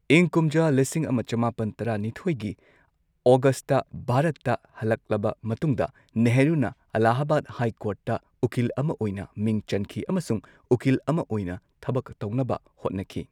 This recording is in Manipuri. ꯏꯪ ꯀꯨꯝꯖꯥ ꯂꯤꯁꯤꯡ ꯑꯃ ꯆꯃꯥꯄꯟ ꯇꯔꯥ ꯅꯤꯊꯣꯏꯒꯤ ꯑꯣꯒꯁꯠꯇ ꯚꯥꯔꯠꯇ ꯍꯜꯂꯛꯂꯕ ꯃꯇꯨꯡꯗ, ꯅꯦꯍꯔꯨꯅ ꯑꯜꯂꯥꯍꯕꯥꯗ ꯍꯥꯏ ꯀꯣꯔꯠꯇ ꯎꯀꯤꯜ ꯑꯃ ꯑꯣꯏꯅ ꯃꯤꯡ ꯆꯟꯈꯤ ꯑꯃꯁꯨꯡ ꯎꯀꯤꯜ ꯑꯃꯥ ꯑꯣꯏꯅ ꯊꯕꯛ ꯇꯧꯅꯕ ꯍꯣꯠꯅꯈꯤ꯫